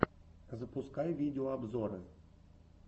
запускай видеообзоры